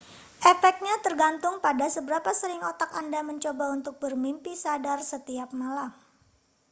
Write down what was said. efeknya tergantung pada seberapa sering otak anda mencoba untuk bermimpi sadar setiap malam